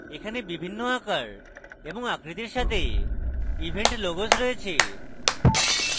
এখানে বিভিন্ন আকার এবং আকৃতির সাথে event logos রয়েছে